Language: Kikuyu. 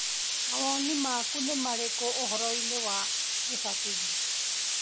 Mawoni maku nĩ marĩkũ ũhoro-inĩ wa gĩbathithio?